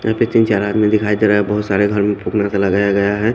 यहा पे तिन चार आदमी दिखाई देरे है बहोत सारे घर में सा लगाया गया है।